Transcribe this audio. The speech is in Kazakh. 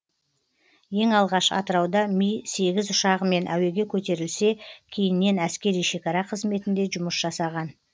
ең алғаш атырауда ми сегіз ұшағымен әуеге көтерілсе кейіннен әскери шекара қызметінде жұмыс жасаған